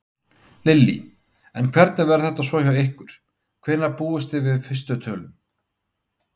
Lillý: En hvernig verður þetta svo hjá ykkur, hvenær búist þið við fyrstu tölum?